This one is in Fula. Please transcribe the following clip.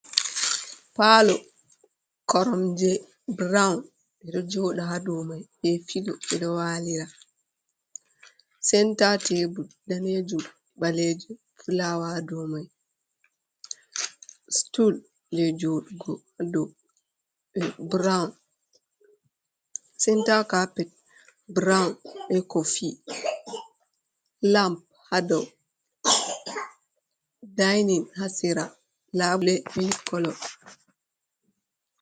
Palo korom je burawun, ɓeɗo joɗa hadow mai be filoji ɗo walira, senta tebur danejum, ɓaleje be fulawa hadow mai stul je senta kapet burowun be kofi lam hadow dainin hasera labule mili kolo